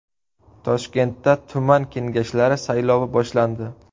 Toshkentda tuman kengashlari saylovi boshlandi.